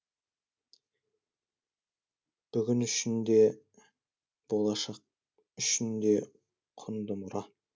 бүгін үшін де болашақ үшін де құнды мұра